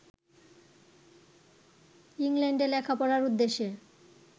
ইংল্যান্ডে লেখাপড়ার উদ্দেশ্যে